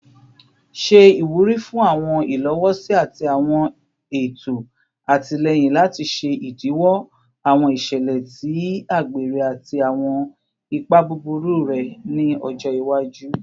Ṣe iwuri fun awọn ilowosi ati awọn eto atilẹyin lati ṣe idiwọ awọn iṣẹlẹ ti agbere ati awọn ipa buburu rẹ ni ọjọ iwaju